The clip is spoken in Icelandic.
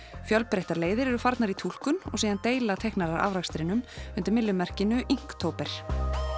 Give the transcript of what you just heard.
fjölbreyttar leiðir eru farnar í túlkun og síðan deila teiknarar afrakstrinum undir myllumerkinu